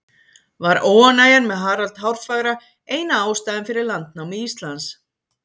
Var óánægjan með Harald hárfagra eina ástæðan fyrir landnámi Íslands?